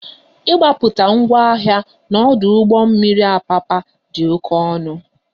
Ị gbapụta ngwa ahịa n'ọdụ ụgbọ mmiri Apapa dị oké ọnụ